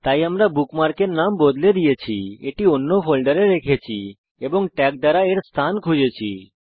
তাই আমরা বুকমার্কের নাম বদলে দিয়েছি এটি অন্য ফোল্ডারে রেখেছি এবং ট্যাগ দ্বারা এর স্থান খুঁজেছি